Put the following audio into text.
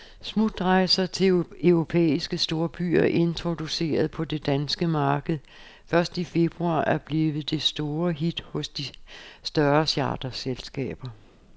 Smutrejser til europæiske storbyer, introduceret på det danske marked først i februar, er blevet det store hit hos de større charterselskaber.